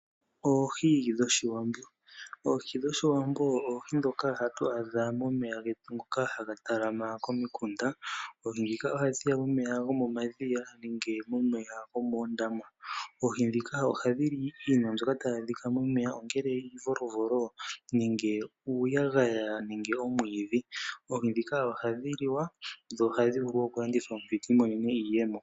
Oohi dhOshiwambo oohi ndhoka hatu adha momeya getu ngoka haga talama komikunda . Oohi ndhika ohadhi ya momeya gomomadhiya nenge momeya gomoondama. Oohi ndhika ohadhi li iinima mbyoka tayi adhikwa momeya ngaashi uuvolovolo , uuyagaya nenge omwiidhi. Oohi ndhika ohadhi liwa dho ohadhi vulu okulandithwa omuntu ti imonene mo iiyemo.